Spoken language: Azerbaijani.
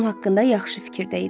Onun haqqında yaxşı fikirdə idi.